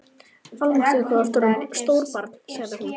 Almáttugur hvað þú ert orðinn stór barn sagði hún.